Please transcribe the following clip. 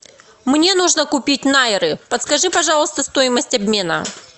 мне нужно купить наиры подскажи пожалуйста стоимость обмена